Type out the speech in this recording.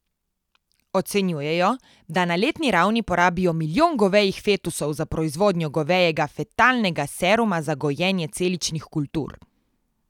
Ocenjujejo, da na letni ravni porabijo milijon govejih fetusov za proizvodnjo govejega fetalnega seruma za gojenje celičnih kultur.